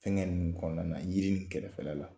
Fɛŋɛ ninnu kɔɔna na, yiri nin kɛrɛfɛla la